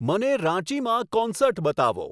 મને રાંચીમાં કોન્સર્ટ બતાવો